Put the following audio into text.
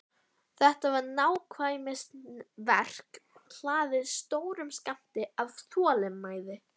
Þetta var nákvæmnisverk hlaðið stórum skammti af þolinmæði.